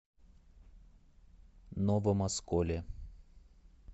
новом осколе